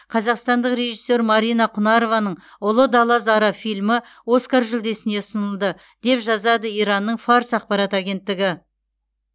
қазақстандық режиссер марина кұнарованың ұлы дала зары фильмі оскар жүлдесіне ұсынылды деп жазады иранның фарс ақпарат агенттігі